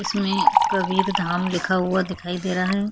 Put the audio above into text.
इसमें कबीरधाम लिखा हुआ दिखाई दे रहा है।